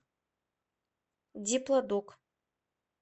диплодок